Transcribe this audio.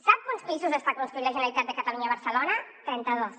sap quants pisos està construint la generalitat de catalunya a barcelona trenta dos